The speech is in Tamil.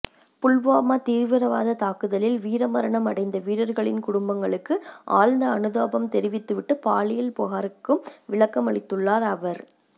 புல்வாமா தீவிரவாத தாக்குதலில் வீரமரணம் அடைந்த வீரர்களின் குடும்பங்களுக்கு ஆழ்ந்த அனுதாபம் தெரிவித்துவிட்டு பாலியல் புகாருக்கும் விளக்கம் அளித்துள்ளார் அவர்